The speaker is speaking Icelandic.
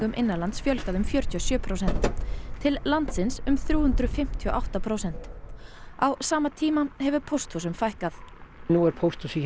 innanlands fjölgað um fjörutíu og sjö prósent til landsins um þrjú hundruð fimmtíu og átta prósent á sama tíma hefur pósthúsum fækkað nú er pósthúsið hér